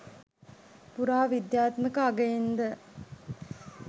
පුරා විද්‍යාත්මක අගයෙන්ද